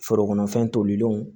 Forokɔnɔ fɛn tolilenw